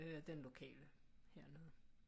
Den lokale her